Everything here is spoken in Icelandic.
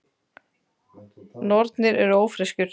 Nornir eru ófreskjur.